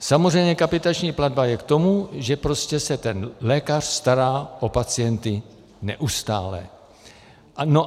Samozřejmě kapitační platba je k tomu, že prostě se ten lékař stará o pacienty neustále.